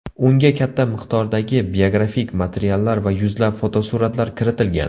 Unga katta miqdordagi biografik materiallar va yuzlab fotosuratlar kiritilgan.